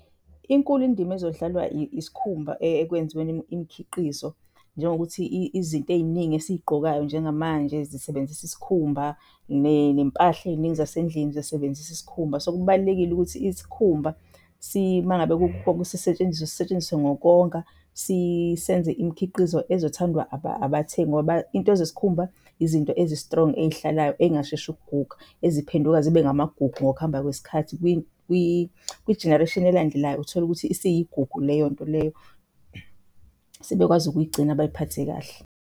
Inkulu indima ezodlalwa isikhumba ekwenziweni imikhiqizo, njengokuthi izinto ey'ningi esiy'gqokayo njengamanje zisebenzisa isikhumba nempahla ey'ningi zasendlini zisebenzisa isikhumba. So, kubalulekile ukuthi isikhumba mangabe sisetshenziswe sisetshenziswe ngokonga, senze imikhiqizo ezothandwa abathengi. Ngoba iy'nto zesikhumba izinto ezi-strong-i ey'hlalayo ey'ngasheshi ukuguga eziphenduka zibe ngamagugu ngokuhamba kwesikhathi. Kwi-generation elandelayo uthole ukuthi isiyigungu leyo nto leyo, sebekwazi ukuyigcina bayiphathe kahle.